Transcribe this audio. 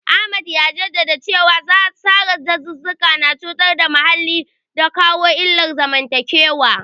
Ahmad ya jaddada cewa sare dazuzzuka na cutar da muhalli da kawo illar zamantakewa.